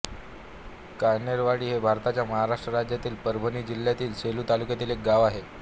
कान्हेरवाडी हे भारताच्या महाराष्ट्र राज्यातील परभणी जिल्ह्यातील सेलू तालुक्यातील एक गाव आहे